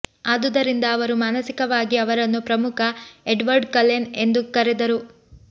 ಆದುದರಿಂದ ಅವರು ಮಾನಸಿಕವಾಗಿ ಅವರನ್ನು ಪ್ರಮುಖ ಎಡ್ವರ್ಡ್ ಕಲೆನ್ ಎಂದು ಕರೆದರು